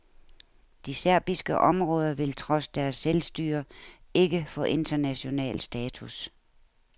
De serbiske områder vil trods deres selvstyre ikke få international status.